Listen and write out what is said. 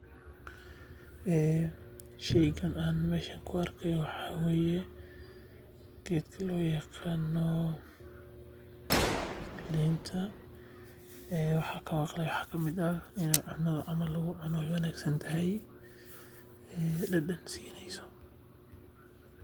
Sheygan aan meeshan ku arki haayo waxa waye geedka loo yaqaano liinta cuntada in lagu cuno ayaa wanagsan dadan ayeey sineysa.